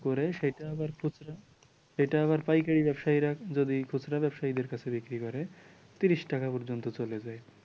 পরে সেটা আবার খুচরা, সেটা আবার পাইকারি ব্যবসায়ীরা যদি খুচরা ব্যবসায়ীদের কাছে বিক্রি করে ত্রিশ টাকা পর্যন্ত চলে যায় ।